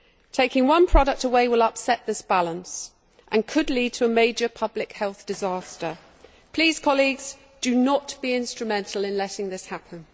Taking one product away will upset this balance and could lead to a major public health disaster. Please, colleagues, do not be instrumental in letting this happen.